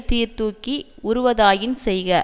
சீர் தூக்கி உறுவதாயின் செய்க